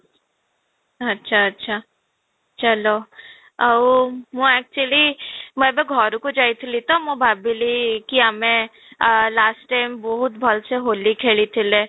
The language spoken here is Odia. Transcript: ଆଚ୍ଛା, ଅଚ୍ଛା ଚାଲ ଆଉ ମୁଁ actually ମୁଁ ଏବେ ଘରକୁ ଯାଇଥିଲି ତ ମୁଁ ଭାବିଲି କି ଆମେ ଆଃ last time ବହୁତ ଭଲ ସେ ହୋଲି ଖେଳିଥିଲେ